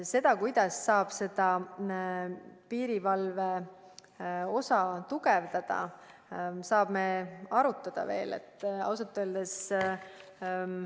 Seda, kuidas piirivalveosa tugevdada, me saame veel arutada.